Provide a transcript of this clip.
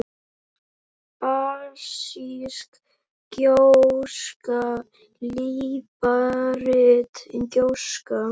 basísk gjóska líparít gjóska